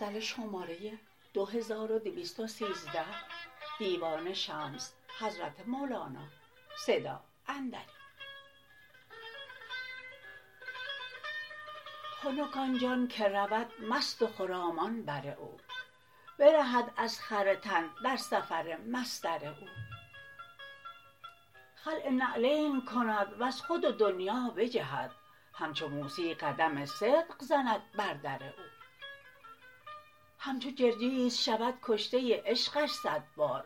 خنک آن جان که رود مست و خرامان بر او برهد از خر تن در سفر مصدر او خلع نعلین کند وز خود و دنیا بجهد همچو موسی قدم صدق زند بر در او همچو جرجیس شود کشته عشقش صد بار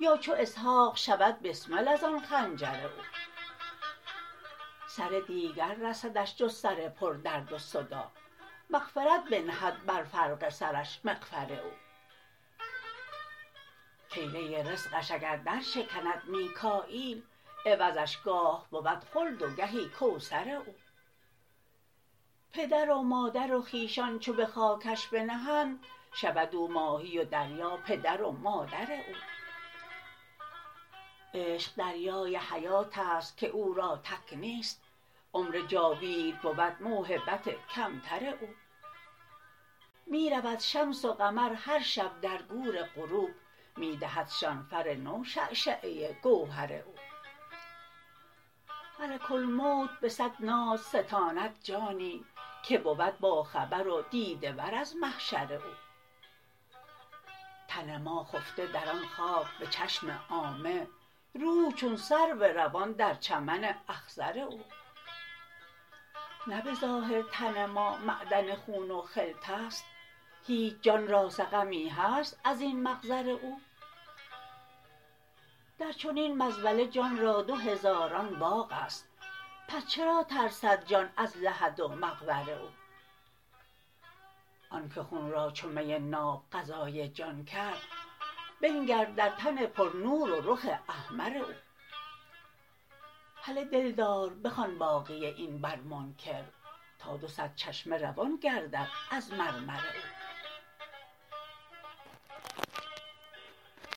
یا چو اسحاق شود بسمل از آن خنجر او سر دیگر رسدش جز سر پردرد و صداع مغفرت بنهد بر فرق سرش مغفر او کیله رزقش اگر درشکند میکاییل عوضش گاه بود خلد و گهی کوثر او پدر و مادر و خویشان چو به خاکش بنهند شود او ماهی و دریا پدر و مادر او عشق دریای حیات است که او را تک نیست عمر جاوید بود موهبت کمتر او می رود شمس و قمر هر شب در گور غروب می دهدشان فر نو شعشعه گوهر او ملک الموت به صد ناز ستاند جانی که بود باخبر و دیده ور از محشر او تن ما خفته در آن خاک به چشم عامه روح چون سرو روان در چمن اخضر او نه به ظاهر تن ما معدن خون و خلط است هیچ جان را سقمی هست از این مقذر او در چنین مزبله جان را دو هزاران باغ است پس چرا ترسد جان از لحد و مقبر او آنک خون را چو می ناب غذای جان کرد بنگر در تن پرنور و رخ احمر او هله دلدار بخوان باقی این بر منکر تا دو صد چشمه روان گردد از مرمر او